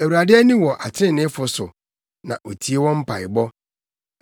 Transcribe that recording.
Awurade ani wɔ atreneefo so na otie wɔn mpaebɔ;